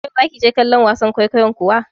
Yau za ki je kallon wasan kwaikwayon kuwa?